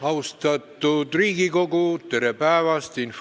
Austatud Riigikogu, tere päevast!